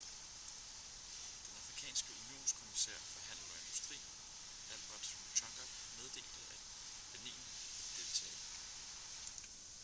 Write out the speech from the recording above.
den afrikanske unionskommissær for handel og industri albert muchanga meddelte at benin ville deltage